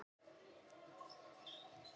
Bíllinn er talin ónýtur.